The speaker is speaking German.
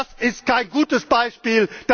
Das ist kein gutes Beispiel!